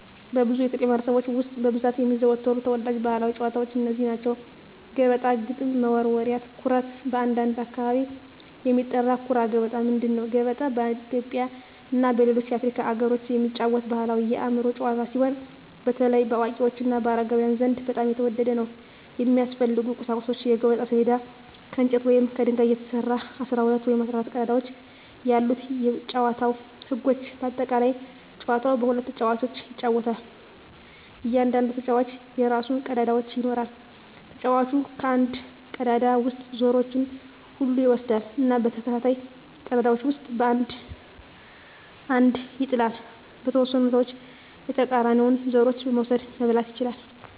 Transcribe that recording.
በብዙ የኢትዮጵያ ማኅበረሰቦች ውስጥ በብዛት የሚዘወተሩ ተወዳጅ ባሕላዊ ጨዋታዎች እነዚህ ናቸው፦ ገበጣ ግጥም መወርወሪያ / ኩርት (በአንዳንድ አካባቢ የሚጠራ) ኩራ ገበጣ ምንድን ነው? ገበጣ በኢትዮጵያ እና በሌሎች የአፍሪካ አገሮች የሚጫወት ባሕላዊ የአእምሮ ጨዋታ ሲሆን፣ በተለይ በአዋቂዎች እና በአረጋውያን ዘንድ በጣም የተወደደ ነው። የሚያስፈልጉ ቁሳቁሶች የገበጣ ሰሌዳ: ከእንጨት ወይም ከድንጋይ የተሰራ፣ 12 ወይም 14 ቀዳዳዎች ያሉት የጨዋታው ህጎች (በአጠቃላይ) ጨዋታው በሁለት ተጫዋቾች ይጫወታል። እያንዳንዱ ተጫዋች የራሱን ቀዳዳዎች ይኖራል። ተጫዋቹ ከአንድ ቀዳዳ ውስጥ ዘሮቹን ሁሉ ይወስዳል እና በተከታታይ ቀዳዳዎች ውስጥ አንድ አንድ ይጥላል። . በተወሰኑ ሁኔታዎች የተቃራኒውን ዘሮች መውሰድ (መብላት) ይችላል።